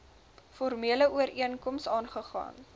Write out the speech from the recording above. formele ooreenkoms aagegaan